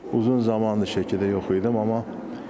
Uzun zaman da Şəkidə yox idim.